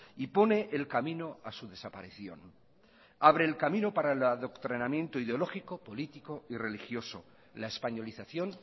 y pone el camino a su desaparición abre el camino para el adoctrinamiento ideológico político y religioso la españolización